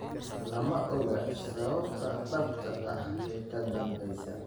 Lama oga sababta dhabta ah ee ka dambeysa.